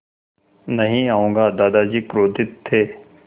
नहीं आऊँगा दादाजी क्रोधित थे